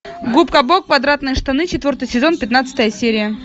губка боб квадратные штаны четвертый сезон пятнадцатая серия